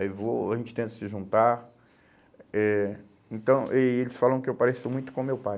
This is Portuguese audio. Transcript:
Aí vou, a gente tenta se juntar, eh então e eles falam que eu pareço muito com meu pai.